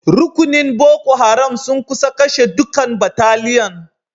Rukunin Boko Haram sun kusa kashe dukan bataliyan.